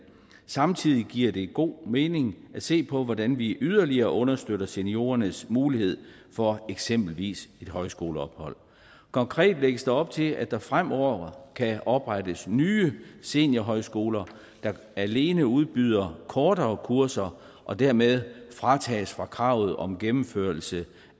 samtidig giver det god mening at se på hvordan vi yderligere understøtter seniorernes mulighed for eksempelvis et højskoleophold konkret lægges der op til at der fremover kan oprettes nye seniorhøjskoler der alene udbyder kortere kurser og dermed fra kravet om gennemførelse